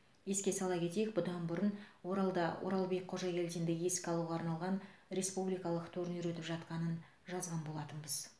еске сала кетейік бұдан бұрын оралда оралбек қожагелдинді еске алуға арналған республикалық турнир өтіп жатқанын жазған болатынбыз